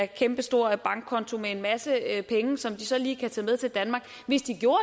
kæmpestor bankkonto med en masse penge som de så lige kan tage med til danmark hvis de gjorde